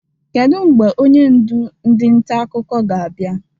Kedu mgbe onye ndụ ndị nta akụkọ ga-abịa?